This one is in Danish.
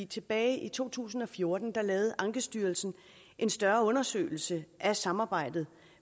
tilbage i to tusind og fjorten lavede ankestyrelsen en større undersøgelse af samarbejdet